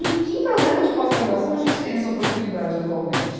Em que programa de pós-graduação a gente tem essa oportunidade atualmente?